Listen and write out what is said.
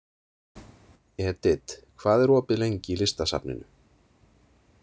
Edith, hvað er opið lengi í Listasafninu?